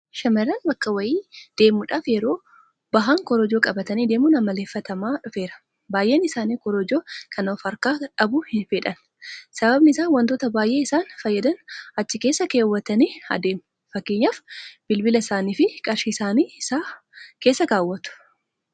Shamarran bakka wayii deemuudhaaf yeroo bahan korojoo qabatanii deemuun amaleeffatamaa dhufeera. Baay'een isaanii korojoo kana ofharkaa dhabuu hinfedhan. Sababni isaas waantota baay'ee isaan fayyadan achi keessa keewwatanii adeemu. Fakkeenyaaf Bilbila isaaniifi Qarshii isaanii isa keessa keewwatu.